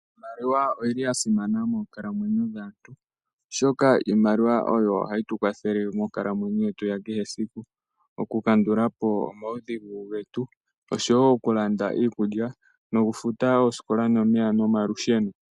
Iimaliwa oya simana monkalamwenyo dhaantu oshoka iimaliwa oyo hayi tukwathele monkalamwenyo yetu ya kehe esiku okukandulapo omaudhigu getu oshowo okulanda iikukya, okufuta oosikola nomalusheno